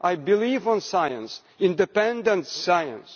I believe in science independent science.